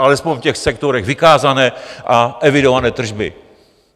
Alespoň v těch sektorech vykázané a evidované tržby.